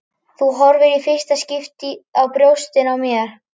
Þú horfir í fyrsta skipti á brjóstin á mér.